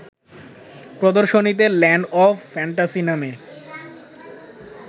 প্রদর্শনীতে land of fantasy নামে